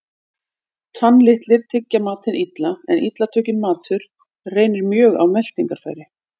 Tannlitlir tyggja matinn illa, en illa tugginn matur reynir mjög á meltingarfæri.